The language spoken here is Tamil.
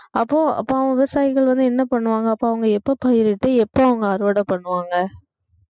அப்போ அப்போ விவசாயிகள் வந்து என்ன பண்ணுவாங்க அப்போ அவங்க எப்ப பயிரிட்டு எப்போ அவங்க அறுவடை பண்ணுவாங்க